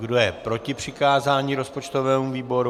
Kdo je proti přikázání rozpočtovému výboru?